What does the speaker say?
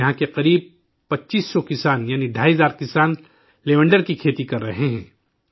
آج یہاں کے تقریباً 25 سو کسان ڈھائی ہزار کسان لیونڈر کی کھیتی کر رہے ہیں